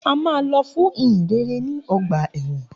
A máa lọ fún ìhìnrere ní ọgbà ẹ̀wọ̀n.